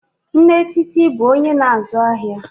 Nne Titi bụ onye na-azụ ahịa.